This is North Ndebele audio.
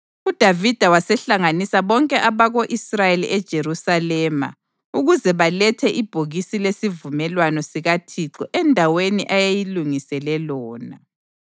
UDavida wasehlanganisa bonke abako-Israyeli eJerusalema ukuze balethe ibhokisi lesivumelwano sikaThixo endaweni ayeyilungisele lona.